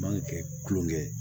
Man kan ka kɛ kulonkɛ ye